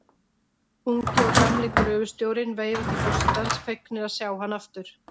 Ungi og gamli gröfustjórinn veifa til forsetans, fegnir að sjá hann aftur.